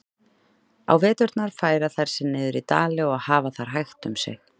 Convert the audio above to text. Á veturna færa þær sig niður í dali og hafa þar hægt um sig.